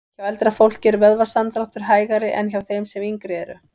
Hjá eldra fólki er vöðvasamdráttur hægari en hjá þeim sem yngri eru.